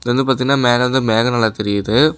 இது வந்து பாத்தீனா மேல இருந்து மேகம் நல்லா தெரியுது.